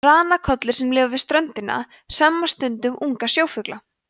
ranakollur sem lifa við ströndina hremma stundum unga sjófugla